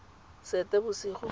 seetebosego